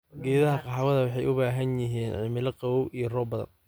Geedaha kahawa waxay u baahan yihiin cimilada qabow iyo roob badan.